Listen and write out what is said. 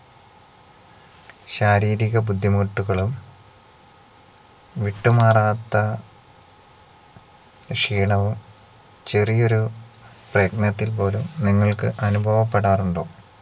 ശാരീരിക ബുദ്ധിമുട്ടുകളും വിട്ടുമാറാത്ത ക്ഷീണവും ചെറിയൊരു പ്രയത്നത്തിൽ പോലും നിങ്ങൾക്ക് അനുഭവപ്പെടാറുണ്ടോ